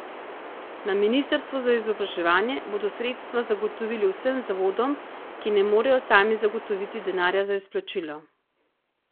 Na ministrstvu za izobraževanje bodo sredstva zagotovili vsem zavodom, ki ne morejo sami zagotoviti denarja za izplačilo.